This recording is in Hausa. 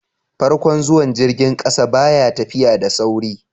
farkon zuwan jirgin ƙasa ba ya tafiya da sauri